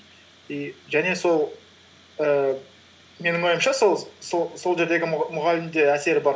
и және сол ііі менің ойымша сол жердегі мұғалім де әсер бар